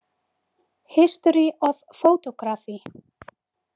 History of Photography.